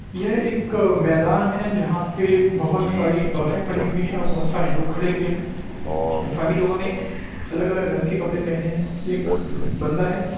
यह एक मैदान है जहां पे बोहोत सारी बसें खड़ी हुई है और बोहोत सारे लोग खड़े हुए है सभी लोगो ने अलग-अलग के कपड़े पहने है एक बांदा है --